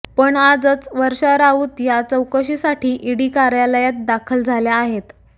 पण आजच वर्षा राऊत या चौकशीसाठी ईडी कार्यालयात दाखल झाल्या आहेत